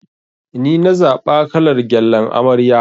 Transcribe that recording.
Nina zaɓa kalar gyallan amarya.